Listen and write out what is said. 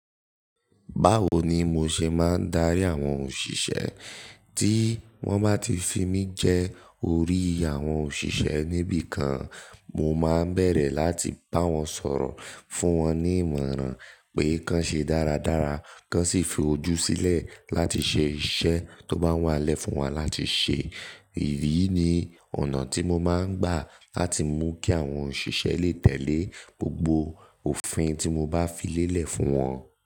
Báwo ni mo ṣe máa ń darí àwọn òṣìṣẹ́? Tí wọ́n bá ti fi mí jẹ́ orí àwọn òṣìṣẹ́ níbi kan, mo máa ń bẹ̀rẹ̀ láti bá wọn sọ̀rọ̀, fún wọn ní ìmọ̀ràn pé kàn ṣe dáradára, kàn sì fi ojú sílẹ̀ láti ṣe iṣẹ́ tó bá wá lẹ́ fún wọn láti ṣe. Èyí ni ọ̀nà tí mo máa ń gbà láti mú kí àwọn òṣìṣẹ́ lè tẹ̀lé gbogbo òfin tí mo bá fi lélẹ̀ fún wọn.